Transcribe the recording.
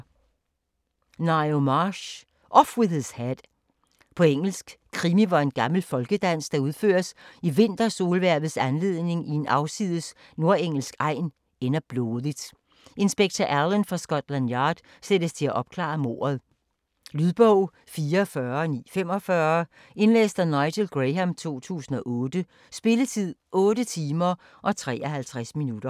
Marsh, Ngaio: Off with his head På engelsk. Krimi, hvor en gammel folkedans, der udføres i vintersolhvervets anledning i en afsides nordengelsk egn, ender blodigt. Inspektør Alleyn fra Scotland Yard sættes til at opklare mordet. Lydbog 44945 Indlæst af Nigel Graham, 2008. Spilletid: 8 timer, 53 minutter.